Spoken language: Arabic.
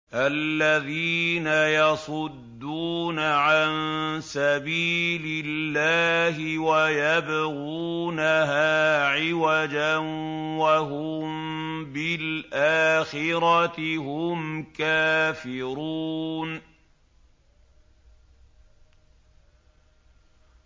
الَّذِينَ يَصُدُّونَ عَن سَبِيلِ اللَّهِ وَيَبْغُونَهَا عِوَجًا وَهُم بِالْآخِرَةِ هُمْ كَافِرُونَ